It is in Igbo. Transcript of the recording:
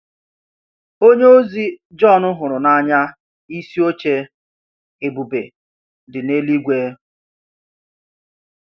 Onyeozi Jọn hụrụ n’anya isi oche ebube dị n’eluigwe.